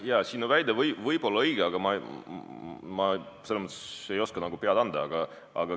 Jaa, sinu väide võib olla õige, aga ma ei oska pead anda.